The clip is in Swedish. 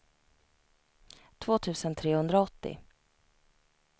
två tusen trehundraåttio